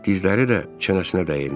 Dizləri də çənəsinə dəymiş.